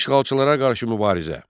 Yadelli işğalçılara qarşı mübarizə.